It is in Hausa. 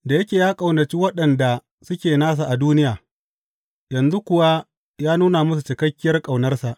Da yake ya ƙaunaci waɗanda suke nasa a duniya, yanzu kuwa ya nuna musu cikakkiyar ƙaunarsa.